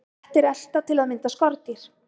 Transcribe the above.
kettir elta til að mynda skordýr